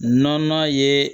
Nɔnana ye